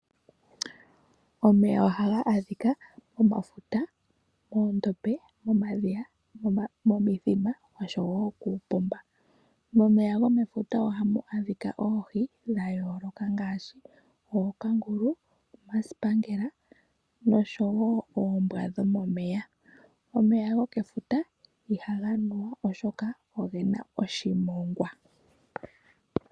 Omeya ohaga adhika momafuta, moondombe, momadhiya, momithima nosho wo kuupomba. Momeya gomefuta ohamu adhika oohi dha yooloka ngaashi ookangulu, omasipangela noshowo oombwa dhomomeya. Omeya gokefuta ihaga nuwa, oshoka ogena oshimongwa.